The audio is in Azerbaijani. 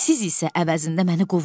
Siz isə əvəzində məni qovdunuz.